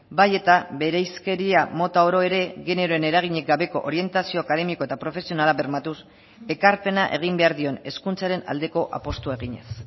bai eta bereizkeria mota oro ere generoen eraginik gabeko orientazio akademiko eta profesionala bermatuz ekarpena egin behar dion hezkuntzaren aldeko apustua eginez